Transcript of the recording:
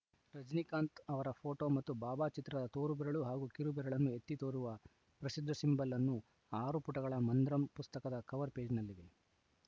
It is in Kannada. ರಜನೀಕಾಂತ್‌ ಅವರ ಫೋಟೊ ಹಾಗೂ ಬಾಬಾ ಚಿತ್ರದ ತೋರು ಬೆರಳು ಹಾಗೂ ಕಿರು ಬೆರಳನ್ನು ಎತ್ತಿ ತೋರುವ ಪ್ರಸಿದ್ಧ ಸಿಂಬಲ್‌ ಅನ್ನು ಆರು ಪುಟಗಳ ಮಂದ್ರಮ್‌ ಪುಸ್ತಕದ ಕವರ್‌ ಪೇಜ್‌ನಲ್ಲಿವೆ